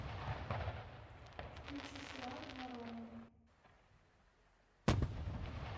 включи сериал воронины